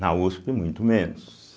Na uspi, muito menos.